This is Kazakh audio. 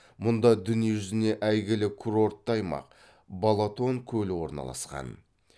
мұнда дүниежүзіне әйгілі курортты аймақ балатон көлі орналасқан